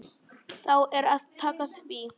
Þá er að taka því.